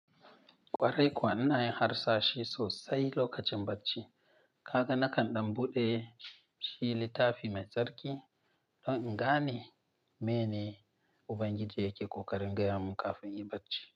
Kwarai kuwa ina yin harsashi sosai lokacin bacci. Kaga nakan ɗan buɗe shi littafi mai tsarki don in gane meyene Ubangiji yake koƙarin gaya mun kafin in yi bacci.